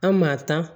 An maa ta